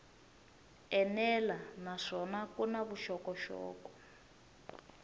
enela naswona ku na vuxokoxoko